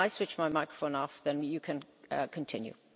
When I switch my microphone off then you can continue.